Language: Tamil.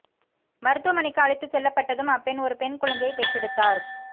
மருத்துவமனைக்கு அழைத்து செல்லப்பட்டதும் அப்பெண் ஒரு பெண் குழந்தையை பெற்றெடுத்தார்